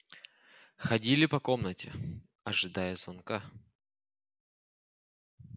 ходили по комнате ожидая звонка